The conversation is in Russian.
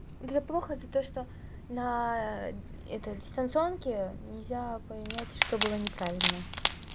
это плохо это то что на это дистанционке нельзя понять что было неправильно